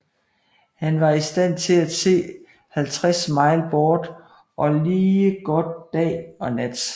Han var i stand til at se 50 mile bort og lige godt dag og nat